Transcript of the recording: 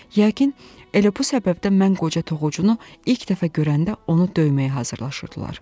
Yəqin elə bu səbəbdən mən qoca toxucunu ilk dəfə görəndə onu döyməyə hazırlaşırdılar.